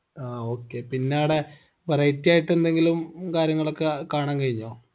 ആ okay പിന്നാടെ variety ആയിട്ട് എന്തെങ്കിലും കാര്യങ്ങളൊക്കെ കാണാൻ കഴിഞ്ഞോ